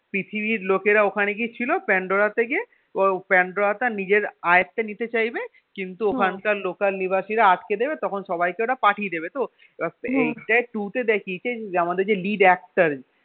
পৃথিবীর লোকেরা ওখানে গিয়ে ছিল প্যান্ডোরা থেকে ওরা প্যান্ডোরা টা নিজের আয়ত্তে নিতে চাইবে কিন্তু ওখানকার local আদিবাসীরা আটকে দেবে তখন সবাইকে ওটা পাঠিয়ে দেবে তো এইটাই two তে দেখিয়েছে আমাদের যে lead actor